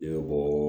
I bɛ bɔɔ